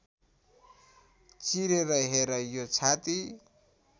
चिरेर हेर यो छाती